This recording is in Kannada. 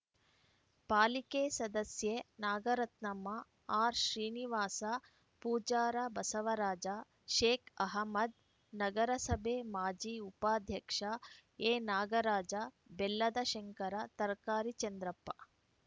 ಪಾಲಿಕೆ ಸದಸ್ಯೆ ನಾಗರತ್ನಮ್ಮ ಆರ್‌ಶ್ರೀನಿವಾಸ ಪೂಜಾರ ಬಸವರಾಜ ಷೇಕ್‌ ಅಹಮ್ಮದ್‌ ನಗರಸಭೆ ಮಾಜಿ ಉಪಾಧ್ಯಕ್ಷ ಎನಾಗರಾಜ ಬೆಲ್ಲದ ಶಂಕರ ತರಕಾರಿ ಚಂದ್ರಪ್ಪ